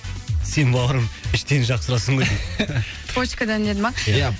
сен бауырым іштен жақсы ұрасың ғой дейді почкадан деді ма ия